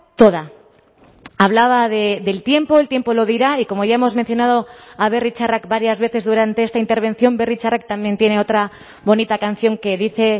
toda hablaba del tiempo el tiempo lo dirá y como ya hemos mencionado a berri txarrak varias veces durante esta intervención berri txarrak también tiene otra bonita canción que dice